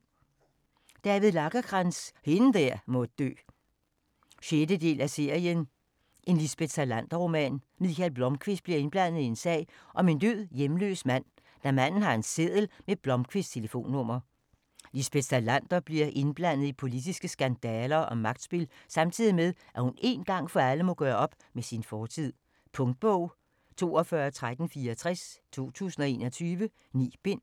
Lagercrantz, David: Hende der må dø 6. del af serien En Lisbeth Salander-roman. Mikael Blomkvist bliver indblandet i en sag om en død hjemløs mand, da manden har en seddel med Blomkvists telefonnummer. Lisbeth Salander bliver indblandet i politiske skandaler og magtspil samtidig med, at hun én gang for alle må gøre op med sin fortid. Punktbog 421364 2021. 9 bind.